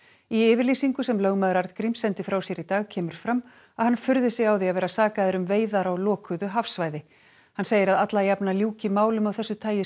í yfirlýsingu sem lögmaður Arngríms sendi frá sér í dag kemur fram að hann furði sig á því að vera sakaður um veiðar á lokuðu hafsvæði hann segir að alla jafna ljúki málum af þessu tagi